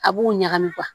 A b'u ɲagami